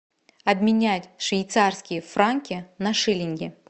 обменять швейцарские франки на шиллинги